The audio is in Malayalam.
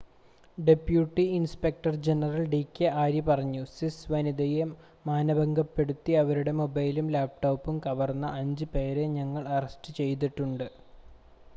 "Deputy inspector general D K Arya പറഞ്ഞു,""സ്വിസ് വനിതയെ മാനഭംഗപ്പെടുത്തി അവരുടെ മൊബൈലും ലാപ്ടോപ്പും കവർന്ന അഞ്ച് പേരെ ഞങ്ങൾ അറസ്റ്റ് ചെയ്തിട്ടുണ്ട്"".